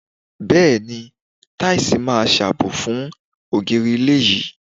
Bẹ́ẹ̀ni, táìsì máa ṣàbò fún ògiri ilé yín.